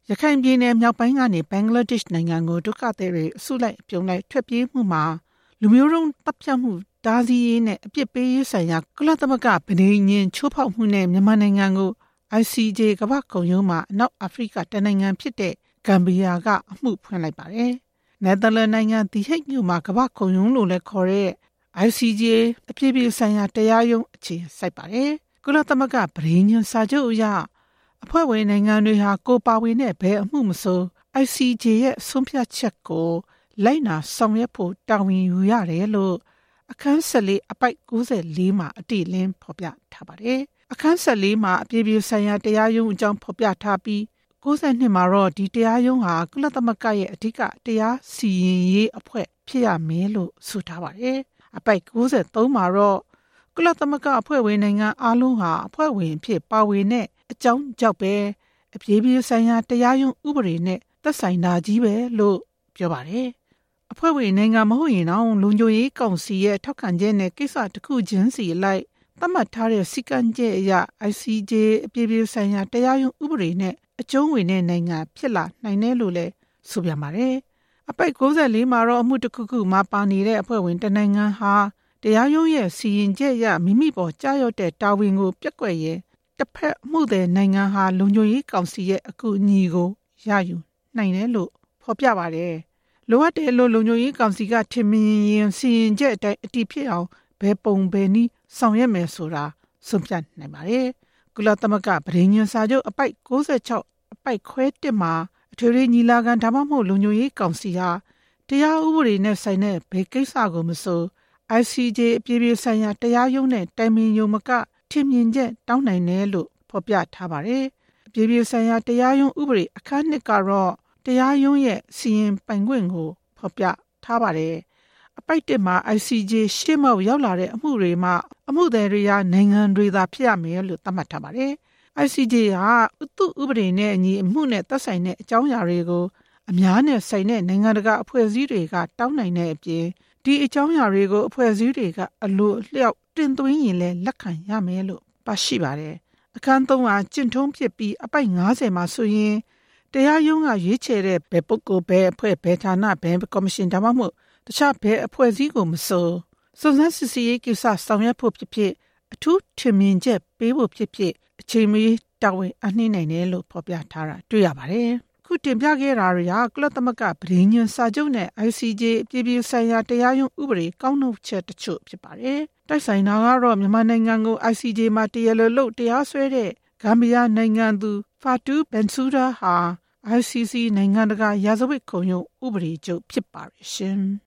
ရခိုင်ပြည်နယ်မြောက်ပိုင်းကနေ ဘင်္ဂလားဒေ့ရှ်နိုင်ငံကို ဒုက္ခသည်တွေ အစုလိုက်အပြုံလိုက် ထွက်ပြေးမှုမှာ လူမျိုးတုံးသတ်ဖြတ်မှု တားဆီးရေးနဲ့ အပြစ်ပေးရေးဆိုင်ရာ ကုလသမဂ္ဂ ပဋိညာဉ် ချိုးဖောက်မှုနဲ့ မြန်မာနိုင်ငံကို ICJ ကမ္ဘာ့ခုံရုံးမှာ အနောက်အာဖရိက တစ်နိုင်ငံဖြစ်တဲ့ ဂမ်ဘီယာက အမှုဖွင့်လိုက်ပါတယ်။ နယ်သာလန်နိုင်ငံ သည်ဟိဂ်မြို့မှာ ကမ္ဘာ့ခုံရုံးလို့လည်းခေါ်တဲ့ အပြည်ပြည်ဆိုင်ရာတရားရုံး အခြေစိုက်တာပါ။ ကုလသမဂ္ဂပဋိညာဉ်စာချုပ်အရ အဖွဲ့ဝင်နိုင်ငံတွေဟာ ကိုယ်ပါဝင်တဲ့ ဘယ်အမှုမဆို ICJ ရဲ့ ဆုံးဖြတ်ချက်ကို လိုက်နာဆောင်ရွက်ဖို့ တာဝန်ယူရတယ်လို့ အခန်း ၁၄၊ အပိုဒ် ၉၄ မှာ အတည့်အလင်း ဖော်ပြထားပါတယ်။ အခန်း ၁၄ ဟာ အပြည်ပြည်ဆိုင်ရာ တရားရုံးအကြောင်း ဖော်ပြထားပြီး အပိုဒ် ၉၂ မှာ ဒီတရားရုံးဟာ ကုလသမဂ္ဂရဲ့ အဓိကတရားစီရင်ရေးအဖွဲ့ ဖြစ်ရမယ်လို့ ဆိုထားပါတယ်။ အပိုဒ် ၉၃ မှာတော့ ကုလအဖွဲ့ဝင်နိုင်ငံအားလုံးဟာ အဖွဲ့ဝင်အဖြစ် ပါဝင်တဲ့အကြောင်းကြောင့်ပဲ အပြည်ပြည် ဆိုင်ရာ တရားရုံး ဥပဒေနဲ့ သက်ဆိုင်တာချည်းပဲလို့ ပြောပါတယ်။ အဖွဲ့ဝင်နိုင်ငံမဟုတ်ရင်တောင် လုံခြုံရေးကောင်စီရဲ့ ထောက်ခံချက်နဲ့ ကိစ္စတစ်ခုချင်းစီအလိုက် သတ်မှတ်ထားတဲ့ စည်းကမ်းချက်အရ ICJ အပြည်ပြည်ဆိုင်ရာတရားရုံး ဥပဒေနဲ့ အကျုံးဝင်တဲ့ နိုင်ငံဖြစ်လာနိုင်တယ်လို့လည်း ဆိုပြန်ပါတယ်။ အပိုဒ် ၉၄ မှာတော့ အမှုတစ်ခုခုမှာပါနေတဲ့ အဖွဲ့ဝင်တစ်နိုင်ငံဟာ တရားရုံးရဲ့စီရင်ချက်အရ မိမိပေါ် ကျရောက်တဲ့ တာဝန်ကိုပျက်ကွက်ရင် တဖက်အမှုသည်နိုင်ငံဟာ လုံခြုံရေးကောင်စီရဲ့ အကူအညီကို ရယူနိုင်ပါတယ်။ လိုအပ် တယ်လို့ လုံခြုံရေးကောင်စီက ထင်မြင်ရင် စီရင်ချက်အတိုင်း အတည်ဖြစ်အောင် ဘယ်ပုံဘယ်နည်းဆောင်ရွက် မယ်ဆိုတာ ဆုံးဖြတ်နိုင်ပါတယ်။ ကုလသမဂ္ဂပဋိညာဉ်စာချုပ် အပိုဒ် ၉၆ အပိုဒ်ခွဲ ၁ မှာ အထွေထွေညီလာခံ ဒါမှမဟုတ် လုံခြုံရေးကောင်စီဟာ တရားဥပဒေနဲ့ဆိုင်တဲ့ ဘယ်ကိစ္စမဆို အပြည်ပြည်ဆိုင်ရာတရားရုံးနဲ့ တိုင်ပင်ရုံမက ထင်မြင်ချက်တောင်းနိုင် တယ်လို့ ဖော်ပြပါတယ်။ အပြည်ပြည်ဆိုင်ရာ တရားရုံး ဥပဒေ အခန်း၂ ကတော့ တရားရုံးရဲ့ စီရင်ပိုင်ခွင့်ကို ဖော်ပြထားပါတယ်။ အပိုဒ်မှာ ၁ မှာ ICJ ရှေ့မှောက်ရောက်လာတဲ့ အမှုတွေမှာ အမှုသည်တွေဟာ နိုင်ငံတွေသာ ဖြစ်ရမယ်လို့ သတ်မှတ်ထားပါတယ်။ ICJ ဟာ သူ့ဥပဒေနဲ့အညီ အမှုနဲ့သက်ဆိုင်တဲ့ အကြောင်းအရာတွေကို အများနဲ့ဆိုင်တဲ့ နိုင်ငံတကာအဖွဲ့အစည်းတွေက တောင်းနိုင်တဲ့အပြင် ဒီအကြောင်းအရာတွေကို အဖွဲ့အစည်းတွေက အလိုအလျောက်တင်သွင်းရင်လည်း လက်ခံရမယ်လို့ ပါရှိပါတယ်။ အခန်း-၃ ဟာ ကျင့်ထုံးဖြစ်ပြီး အပိုဒ် ၅၀ မှာ ဆိုရင် တရားရုံးက ရွေးချယ်တဲ့ ဘယ်ပုဂ္ဂိုလ်၊ ဘယ်အဖွဲ့ ဘယ်ဌာန၊ ဘယ်ကော်မရှင်၊ ဒါမှမဟုတ် တခြား ဘယ်အဖွဲ့အစည်းကိုမဆို စုံစမ်းစစ်ဆေးရေးကိစ္စ ဆောင်ရွက်ဖို့ဖြစ်ဖြစ်၊ အထူးထင်မြင်ချက်ပေးဖို့ဖြစ်ဖြစ် အချိန်မရွေးတာဝန်အပ်နှင်းနိုင်တယ်လို့ ဖော်ပြထားတာ တွေ့ရှိရပါတယ်။ တိုက်ဆိုင်တာကတော့ မြန်မာနိုင်ငံကို ICJ မှာ တရားလိုလုပ်တရားစွဲတဲ့ ဂမ်ဘီယာနိုင်ငံသူ ဖာတူးဘင်ဆူးဒါး Fatou Bensouda ဟာ ICC နိုင်ငံတကာရာဇဝတ်ခုံရုံး ဥပဒေချုပ်ဖြစ်ပါတယ်။